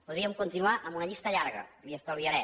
podríem continuar amb una llista llarga li ho estalviaré